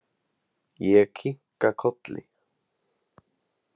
Ég kinka kolli.